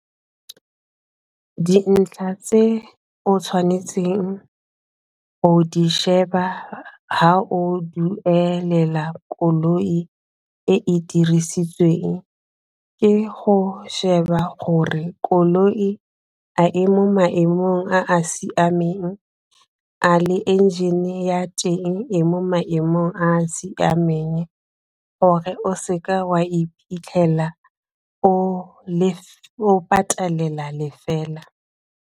Dintlha tse o tshwanetseng o di sheba fa o duelela koloi e e dirisitsweng ke go sheba gore koloi a e mo maemong a a siameng a le engine ya teng e mo maemong a a siameng gore o se ka wa iphitlhela o le o patelela le fela.